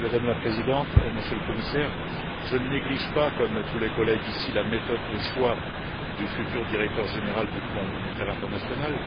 Madame la Présidente, Monsieur le Commissaire, je ne néglige pas, comme tous les collègues ici, la méthode du choix du futur directeur général du Fonds monétaire international,